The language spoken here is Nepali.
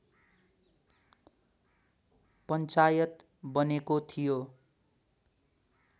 पञ्चायत बनेको थियो